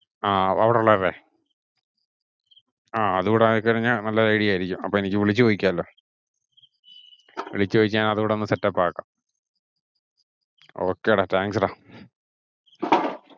ആഹ് അവിടുള്ളവരുടെ ആഹ് അതൂടായി കഴിഞ്ഞ നല്ല idea ആയിരിക്കും. അപ്പൊ എനിക്ക് വിളിച്ചു ചോദിക്കാം. വിളിച്ചു ചോദിയ്ക്കാൻ അതൂടോന്നു set up ആക്കാം. okay ഡാ Thank you ഡാ.